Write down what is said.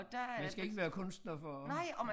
Man skal ikke være kunstner for at